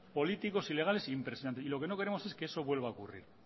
políticos ilegales impresionante y lo que no queremos es que eso vuelva a ocurrir